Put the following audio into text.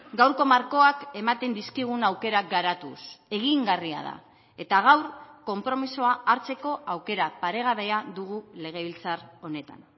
gaurko markoak ematen dizkigun aukerak garatuz egingarria da eta gaur konpromisoa hartzeko aukera paregabea dugu legebiltzar honetan